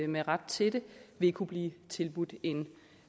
med ret til det vil kunne blive tilbudt en